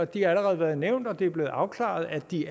de har allerede været nævnt og det er blevet afklaret at de